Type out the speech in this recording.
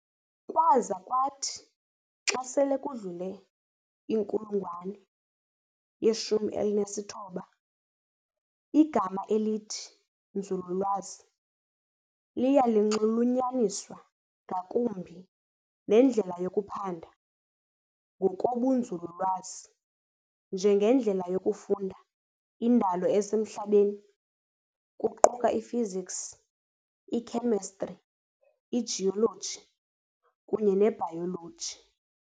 Kwaza kwathi xa sele kudlule inkulungwane ye-19, igama elithi "Nzululwazi" liya linxulunyaniswa ngakumbi nendlela yokuphanda ngokobunzululwazi, njengendlela yokufunda indalo esemhlabeni, kuquka iphysics, ikhemistri, igeology kunye nebhayoloji.